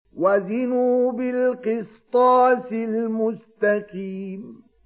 وَزِنُوا بِالْقِسْطَاسِ الْمُسْتَقِيمِ